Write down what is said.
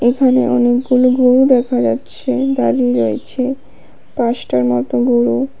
এখানে অনেকগুলো গরু দেখা যাচ্ছে দাঁড়িয়ে রয়েছে পাচটার মতো গরু।